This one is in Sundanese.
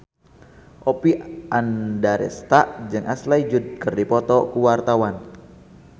Oppie Andaresta jeung Ashley Judd keur dipoto ku wartawan